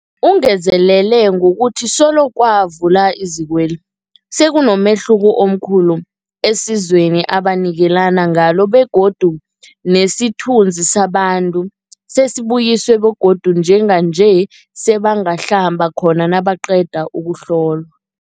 Ungezelele ngokuthi solo kwavulwa izikweli, sekunomehluko omkhulu esizweni ebanikelana ngalo begodu nesithunzi sabantu sesibuyisiwe begodu njenganje sebangahlamba khona nabaqeda ukuhlolwa.